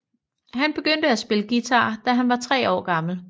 Han begyndte at spille guitar da han var tre år gammel